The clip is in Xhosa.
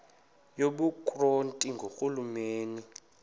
yobukro ti ngurhulumente